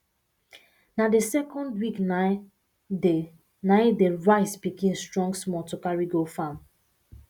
na dey second week nai dey nai dey rice pikin strong small to carry go farm